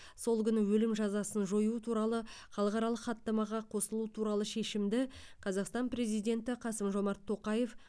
сол күні өлім жазасын жою туралы халықаралық хаттамаға қосылу туралы шешімді қазақстан президенті қасым жомарт тоқаев